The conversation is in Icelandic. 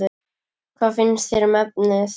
Hvað finnst þér um efnið?